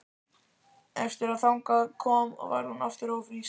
Eftir að þangað kom varð hún aftur ófrísk.